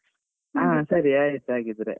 ಹಾ ಸರಿ ಆಯ್ತು ಹಾಗಾದ್ರೆ.